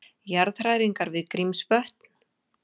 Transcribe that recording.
Jarðhræringar við Grímsvötn